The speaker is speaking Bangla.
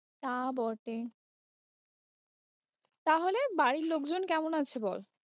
তা বটে, তাহলে বাড়ির লোক জন কেমন আছে বল।